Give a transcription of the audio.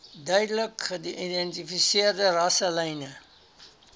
duidelik geïdentifiseerde rasselyne